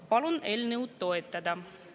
Palun eelnõu toetada!